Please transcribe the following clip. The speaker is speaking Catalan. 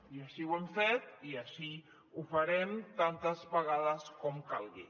i així ho hem fet i així ho farem tantes vegades com calgui